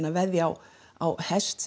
að veðja á á hest